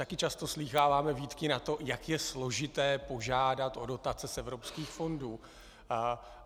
Taky často slýcháváme výtky na to, jak je složité požádat o dotace z evropských fondů.